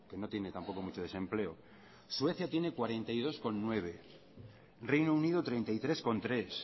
no tiene tampoco mucho desempleo suecia tiene cuarenta y dos coma nueve reino unido treinta y tres coma tres